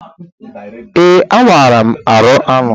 Ee, amaara m arụ anụ.